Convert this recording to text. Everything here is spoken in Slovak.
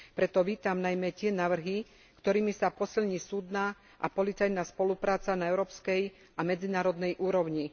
Preto vítam najmä tie návrhy, ktorými sa posilní súdna a policajná spolupráca na európskej a medzinárodnej úrovni.